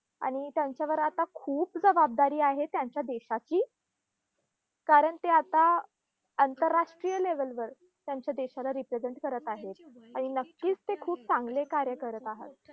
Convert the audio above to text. आणि त्यांच्यावर आता खूप जबाबदारी आहे त्यांच्या देशाची. कारण ते आता आंतरराष्ट्रीय level वर त्यांच्या देशाला represent करत आहेत. आणि नक्कीच ते खूप चांगले कार्य करीत आहात.